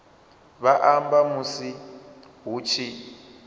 vha amba musi hu tshi